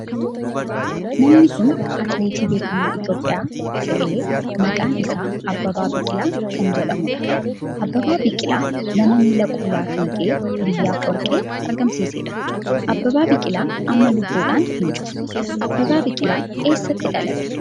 Namni kun atileetii beekamaa Itiyoophiyaa ta'e maqaan isaa Abbabaa Biqilaa kan jedhamudha. Abbabaa Biqilaa nama miila qullaa fiigee biyyaaf warqee argamsiisedha. Abbabaa Biqilaa amma lubbuudhan hin jiru. Abbabaa Biqilaa eessatti dhalate?